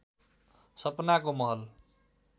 सपनाको महल